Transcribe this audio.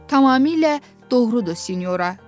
Tamamilə doğrudur, Sinyora Qrafinya.